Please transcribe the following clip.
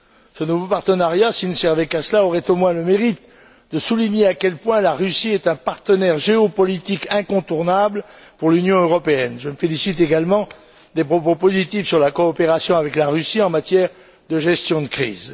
Ce nouveau partenariat, s'il ne servait qu'à cela, aurait au moins le mérite de souligner à quel point la Russie est un partenaire géopolitique incontournable pour l'Union européenne. Je me félicite également des propos positifs sur la coopération avec la Russie en matière de gestion de crise.